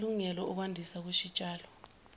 samalungelo okwandiswa kwesitshalo